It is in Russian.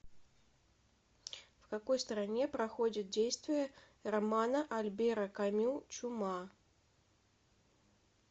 в какой стране проходит действие романа альбера камю чума